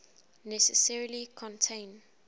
necessarily contain